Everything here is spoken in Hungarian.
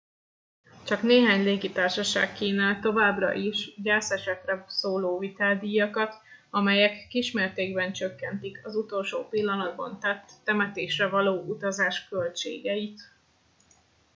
csak néhány légitársaság kínál továbbra is gyászesetre szóló viteldíjakat amelyek kismértékben csökkentik az utolsó pillanatban tett temetésre való utazás költségeit